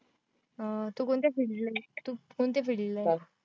अं तू कोणत्या field ला आहेस तू कोणत्या field ला आहेस?